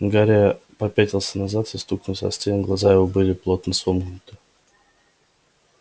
гарри попятился назад и стукнулся о стену глаза его были плотно сомкнуты